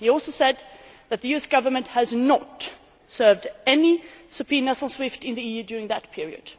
He also said that the US Government has not served any subpoenas on SWIFT in the EU during that period.